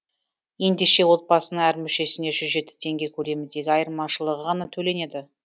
ендеше отбасының әр мүшесіне жүз жеті теңге көлеміндегі айырмашылығы ғана төленеді